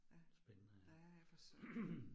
Ja. Ja ja for søren